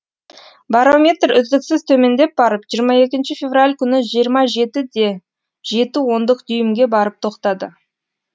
барометр үздіксіз төмендеп барып жиырма екінші февраль күні жиырма жеті де жеті ондық дюймге барып тоқтады